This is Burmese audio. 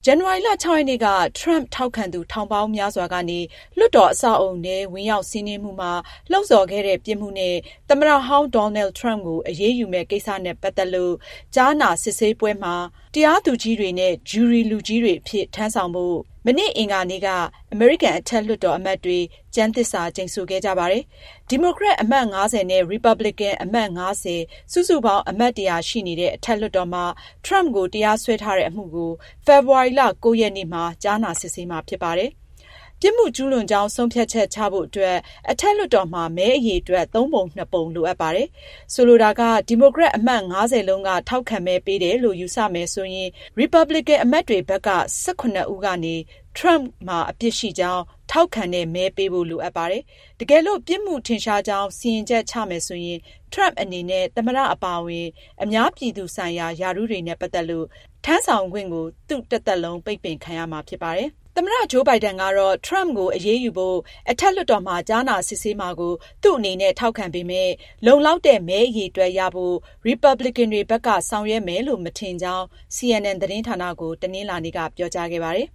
ဇန်နဝါရီလ (၆)ရက်နေ့က Trump ထောက်ခံသူထောင်ပေါင်းများစွာကနေ လွှတ်တော်အဆောက်အအုံထဲ ဝင်ရောက်စီးနင်းမှုမှာ လှုံဆော်ခဲ့တဲ့ ပြစ်မှုနဲ့ သမ္မတဟောင်း Donald Trump ကို အရေးယူမယ့်ကိစ္စနဲ့ ပတ်သက်လို့ ကြားနာစစ်ဆေးဖို့ မနေ့ အင်္ဂါနေ့က အမေရိကန် အထက်လွှတ်တော် အမတ်တွေဟာ တရားသူကြီးတွေနဲ့ ဂျုရီလူကြီးတွေအဖြစ် ထမ်းဆောင်ဖို့ ကျမ်းသစ္စာကျိန်ဆိုခဲ့ကြပါတယ်။ ဒီမိုကရက်အမတ် ၅၀ နဲ့ ရီပါပလင်ကန် အမတ် ၅၀ စုစုပေါင်း အမတ် ၁၀၀ ရှိနေတဲ့ အထက်လွှတ်တော်မှာ Trump ကိုတရားစွဲထားတဲ့ အမှုကို ဖေဖေါ်ဝါရီလ ၉ရက်နေ့မှာ ကြားနာစစ်ဆေးမှာဖြစ်ပါတယ်။ ပြစ်မှုကျူးလွန်ကြောင်းဆုံးဖြတ်ချက် ချဖို့အတွက် အထက်လွှတ်တော်မှာ မဲအရေအတွက် သုံးပုံနှစ်ပုံ လိုအပ်ပါတယ်။ ဆိုလိုတာက- ဒီမိုကရက် အမတ် ၅၀ လုံးက ထောက်ခံမဲပေးတယ်လို့ ယူဆမယ်ဆိုရင် ရီပါပလင်ကန်အမတ်တွေဘက်က ၁၇ ဦးကနေ Trump မှာ အပြစ်ရှိကြောင်း ထောက်ခံတဲ့မဲပေးဖို့ လိုအပ်ပါတယ်။ တကယ်လို့ ပြစ်မှုထင်ရှားကြောင်း စီရင်ချက် ချမယ်ဆိုရင် Trump အနေနဲ့ သမ္မတ အပါအဝင် အများပြည်သူဆိုင်ရာ ရာထူးတွေနဲ့ပတ်သက်လို့ ထမ်းဆောင်ခွင့် သူ့ တသက်လုံး ပိတ်ပင်ခံရမှာဖြစ်ပါတယ်။ သမ္မတ ဂျိုးဘိုင်ဒန်ကတော့ Trump ကိုအရေးယူဖို့ အထက်လွှတ်တော်မှာ ကြားနာ စစ်ဆေးမှာကို သူ့အနေနဲ့ ထောက်ခံပေမယ့် လုံလောက်တဲ့ မဲအရေအတွက်ရဖို့ ရီပါပလင်ကန်တွေဘက်က ဆောင်ရွက်မယ်လို့ မထင်ကြောင်း CNN သတင်းဌာနကို တနင်္လာနေ့က ပြောကြားခဲ့ပါတယ်